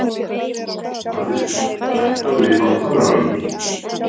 Mariska, hækkaðu í hátalaranum.